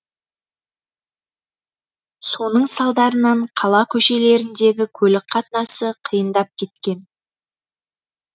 соның салдарынан қала көшелеріндегі көлік қатынасы қиындап кеткен